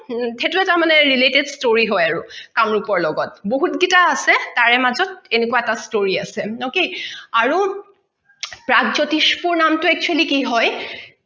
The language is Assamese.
সেইটো এটা related story হয় আৰু কামৰোপৰ লগত বহুত গিটা আছে তাৰ মাজত এনেকোৱা এটা story আছে ok আৰু প্ৰাগজ্যোতিষপুৰ নামটো actually কি হয়